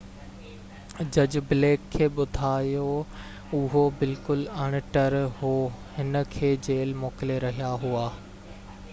جج بليڪ کي ٻڌايو اهو بلڪل اڻ ٽر هو هن کي جيل موڪلي رهيا هئا